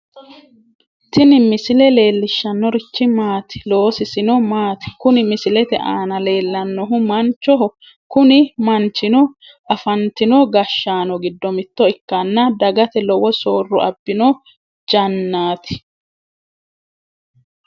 tini misile leellishshannorichi maati? loosisino maati? kuni misilete aana leellannohu manchoho, kuni manchino afantino gashshaano giddo mitto ikkanna dagate lowo soorro abbino jannaati.